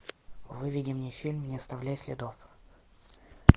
выведи мне фильм не оставляй следов